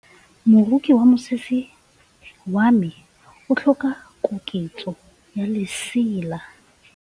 Moroki wa mosese wa me o tlhoka koketsô ya lesela.